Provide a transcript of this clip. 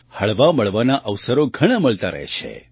હળવામળવાના અવસરો ઘણા મળતા જ રહે છે